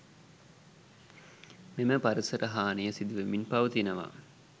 මෙම පරිසර හානිය සිදුවෙමින් පවතිනවා.